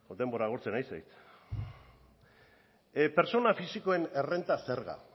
denbora agortzen ari zait pertsona fisikoen errenta zerga